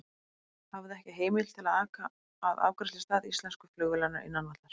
Hafði ekki heimild til að aka að afgreiðslustað íslensku flugvélarinnar innan vallar.